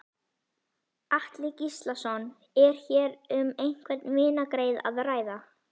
Atli Gíslason: Er hér um einhvern vinargreiða að ræða?